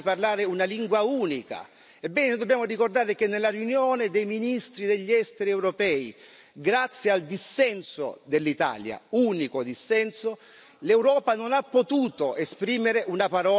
Ebbene, dobbiamo ricordare che nella riunione dei ministri degli Esteri europei, grazie al dissenso dell'Italia, unico dissenso, l'Europa non ha potuto esprimere una parola chiara in questa direzione.